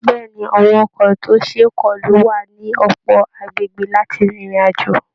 Bẹ́ẹ̀ ni, àwọn ọkọ̀ tí ó ṣe é kọlù wà ní ọ̀pọ̀ agbègbè láti rin ìrìn àjò